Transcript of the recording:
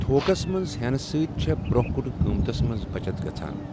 Talks منٛز ہیٚنہٕ سۭتۍ چھےٚ برٛونٛہہ کُن قۭمتَس منٛز بَچت گَژھان۔